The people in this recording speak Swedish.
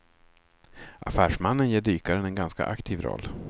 Affärsmannen ger dykaren en ganska aktiv roll.